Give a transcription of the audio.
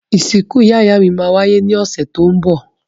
Ìsìkú ìyá-ìyámí má wáyé ni ọ̀sẹ̀ to n bọ̀